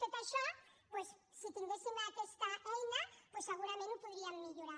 tot això doncs si tinguéssim aquesta eina segurament ho podríem millorar